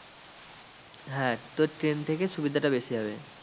হ্যাঁ তোর ট্রেন থেকে সুবিধাটা বেশি হবে।